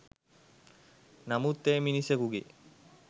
නමුත් එය මිනිසකුගේ